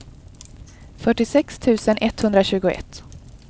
fyrtiosex tusen etthundratjugoett